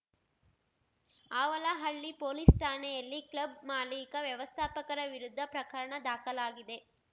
Avalahalli police ಠಾಣೆಯಲ್ಲಿ club ಮಾಲಿಕ ವ್ಯವಸ್ಥಾಪಕರ ವಿರುದ್ಧ ಪ್ರಕರಣ ದಾಖಲಾಗಿದೆ